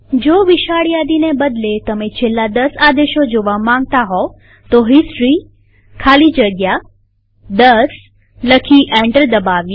જો વિશાળ યાદીને બદલે તમે છેલ્લા દસ આદેશો જોવા માંગતા હોવ તો હિસ્ટોરી ખાલી જગ્યા 10 લખી એન્ટર દબાવીએ